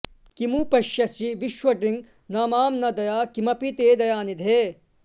किमु पश्यसि विश्वदृङ् न मां न दया किमपि ते दयानिधे